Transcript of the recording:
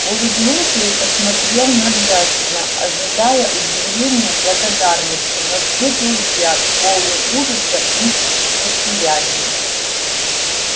улыбнулся и посмотрел на джастина ожидая удивления благодарности но встретил взгляд полный ужаса и неприязни